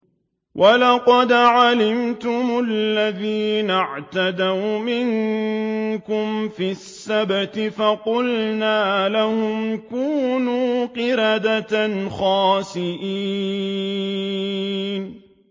وَلَقَدْ عَلِمْتُمُ الَّذِينَ اعْتَدَوْا مِنكُمْ فِي السَّبْتِ فَقُلْنَا لَهُمْ كُونُوا قِرَدَةً خَاسِئِينَ